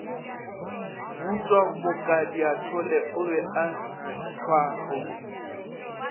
butšwamokadiathola o be a hlwakgauswi